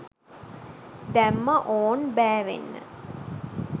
දැම්මා ඕන් බෑවෙන්න